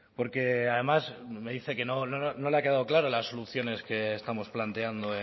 porque además me dice que no le ha quedado claro las soluciones que estamos planteando